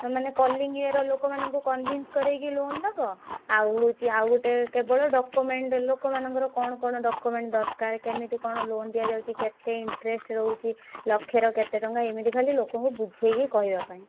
ମାନେ calling ଇଏ ର ଲୋକମାନଙ୍କୁ convince କରେଇକି loan ଦବ ଆଉ ହଉଛି ଆଉ ଗୋଟେ କେବଳ document ଲୋକମାନଙ୍କ ର କଣ କଣ document ଦରକାର କେମିତି କଣ loan ଦିଆଯାଉଛି କେତେ interest ରହୁଛି ଲକ୍ଷେ ର କେତେ ଟଙ୍କାଏମିତି ଖାଲି ଲୋକଙ୍କୁ ବୁଝେଇକି କହିବା ପାଇଁ।